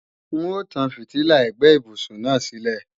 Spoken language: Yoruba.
N ó tán fìtílà ẹ̀gbẹ́ ibùsùn náà sílẹ̀